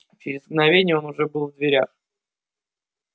через мгновение он уже был в дверях